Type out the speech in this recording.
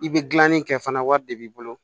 I bɛ gilanni kɛ fana wari de b'i bolo